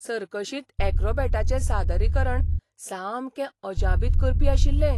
सर्कशींत यॅक्रोबॅटाचें सादरीकरण सामकें अजापित करपी आशिल्लें!